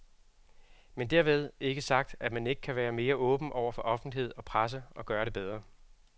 Men dermed ikke sagt, at man ikke kan være mere åben over for offentlighed og presse og gøre det bedre.